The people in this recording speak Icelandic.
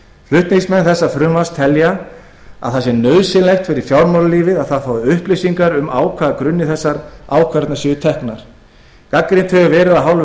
flutningsmenn þessa frumvarps telja að það sé nauðsynlegt fyrir fjármálalífið að það fái upplýsingar um á hvaða grunni þessar ákvarðanir séu teknar gagnrýnt hefur verið af hálfu